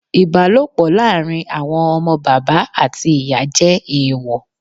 Ìbálòpọ̀ láàrin àwọn ọmọ bàbá àti ìyá jẹ́ èèwọ̀.